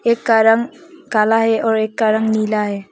एक का रंग काला है और एक का रंग नीला है।